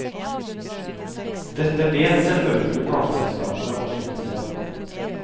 Dette vet selvfølgelig plateselskapene å benytte seg av.